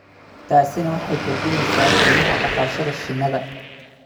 taasina waxay kordhinaysaa qiimaha dhaqashada shinnida